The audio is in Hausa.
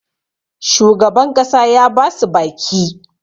shugaban ƙasa ya ba su baki